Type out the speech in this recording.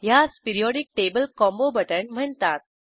ह्यास periodic table combo बटण म्हणतात